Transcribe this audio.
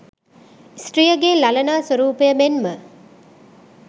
ස්ත්‍රියගේ ළලනා ස්වරූපය මෙන්ම